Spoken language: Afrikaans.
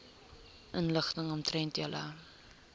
inligting omtrent julle